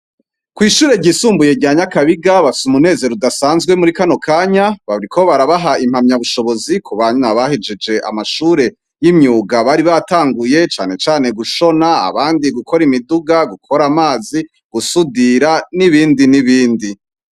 Kw'ishure ryisumbuye ryanyakabiga basa umunezero udasanzwe muri kano kanya bariko barabaha impamya bushobozi ku banywa bahejeje amashure y'imyuga bari batanguye canecane gushona abandi gukora imiduga gukora amazi gusudira n'ibindi n'ibindi.